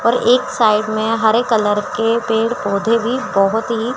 और एक साइड मे हरे कलर के पेड़ पौधे भी बहोत ही--